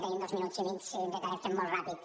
tenim dos minuts i mig sí intentarem fer ho molt ràpid